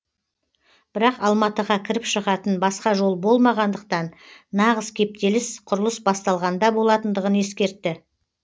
бірақ алматыға кіріп шығатын басқа жол болмағандықтан нағыз кептеліс құрылыс басталғанда болатындығын ескертті